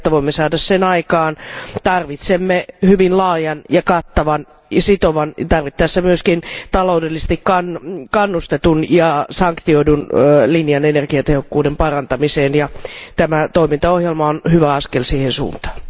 Jotta voimme saada sen aikaan, tarvitsemme hyvin laajan ja kattavan sekä sitovan ja tarvittaessa myöskin taloudellisesti kannustetun ja sanktioidun linjan energiatehokkuuden parantamiseen. Tämä toimintaohjelma on hyvä askel siihen suuntaan.